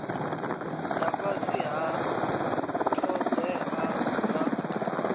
ya fhasi ya ṱhoḓea dza